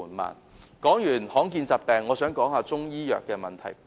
談過罕見疾病，我亦想探討中醫藥的問題。